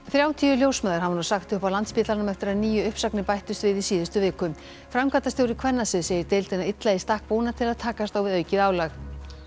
þrjátíu ljósmæður hafa nú sagt upp á Landspítalanum eftir að níu uppsagnir bættust við í síðustu viku framkvæmdastjóri kvennasviðs segir deildina illa í stakk búna til að takast á við aukið álag